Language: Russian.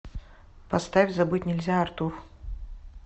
поставь забыть нельзя артур